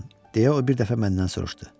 deyə o bir dəfə məndən soruşdu.